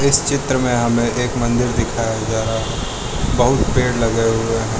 इस चित्र में हमे एक मंदिर दिखाया जा रहा है बहुत पेड़ लगे हुए है।